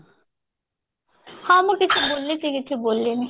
ହଁ ମୁଁ କିଛି ବୁଲିଛି କିଛି ବୁଲିନି